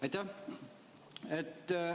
Aitäh!